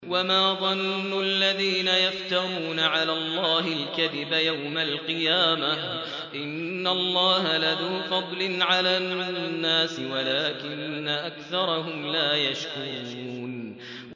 وَمَا ظَنُّ الَّذِينَ يَفْتَرُونَ عَلَى اللَّهِ الْكَذِبَ يَوْمَ الْقِيَامَةِ ۗ إِنَّ اللَّهَ لَذُو فَضْلٍ عَلَى النَّاسِ وَلَٰكِنَّ أَكْثَرَهُمْ لَا يَشْكُرُونَ